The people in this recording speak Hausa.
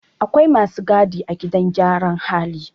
Akwai masu gadi a gidan gyaran hali